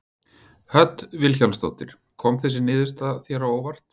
Hödd Vilhjálmsdóttir: Kom þessi niðurstaða þér á óvart?